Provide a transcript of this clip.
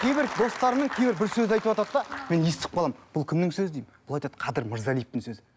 кейбір достарымның кейбір бір сөз айтыватады да мен естіп қаламын бұл кімнің сөзі деймін бұл айтады қадір мырзалиевтің сөзі